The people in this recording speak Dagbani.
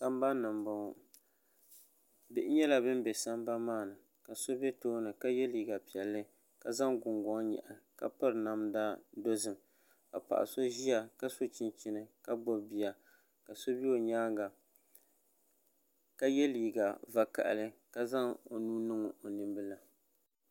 Sambanni n boŋo bihi nyɛla bin bɛ sambani maa ni ka so bɛ tooni ka yɛ liiga piɛlli ka zaŋ Gungoŋ nyaɣi ka piri namda dozim ka paɣa so ʒiya ka so chinchini ka gbubi bia ka so bɛ o nyaanga ka yɛ liiga vakaɣali ka zaŋ o nuu niŋ o nimbila